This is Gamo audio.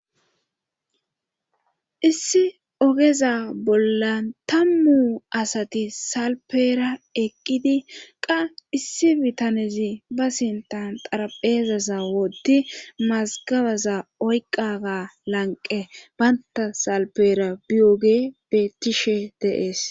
issi ogeza bollan tammu asati salpeera eqqidi qa issi bitanezi ba sintan xarapheeza sawodi mazgabaza oyqqaga lanqe baynta salpeera biyoge bettishe deees